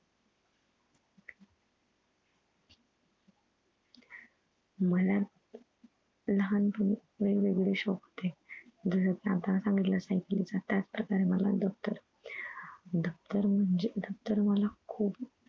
मला लहानपणी वेगवेगळे शौक होते. जस कि आता मी सांगितलं CYCLE चा त्याचप्रकारे मला दप्तर दप्तर म्हणजे दप्तर मला खूप